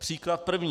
Příklad první.